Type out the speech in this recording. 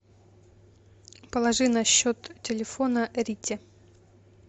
положи на счет телефона рите